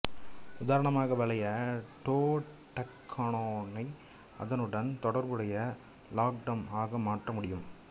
உதாரணமாக வளைய டோடெக்கனோனை அதனுடன் தொடர்புடைய லாக்டம் ஆக மாற்ற முடியும்